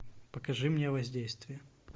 покажи мне воздействие